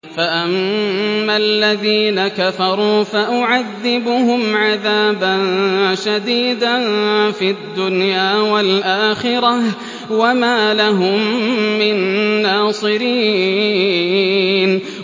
فَأَمَّا الَّذِينَ كَفَرُوا فَأُعَذِّبُهُمْ عَذَابًا شَدِيدًا فِي الدُّنْيَا وَالْآخِرَةِ وَمَا لَهُم مِّن نَّاصِرِينَ